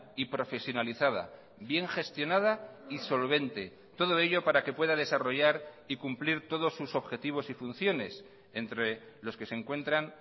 y profesionalizada bien gestionada y solvente todo ello para que pueda desarrollar y cumplir todos sus objetivos y funciones entre los que se encuentran